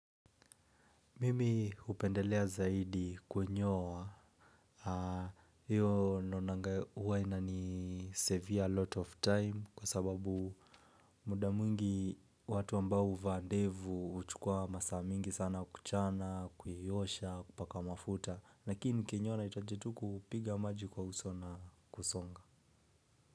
Mimi hupendelea zaidi kunyoa, hiyo nonanga huwa inanisevere a lot of time kwa sababu muda mwingi watu ambao huvaa ndevu huchukua masaa mingi sana kuchana, kuiosha, kupaka mafuta, lakini nikinyoa nahitaji tu kupiga maji kwa uso na kusonga.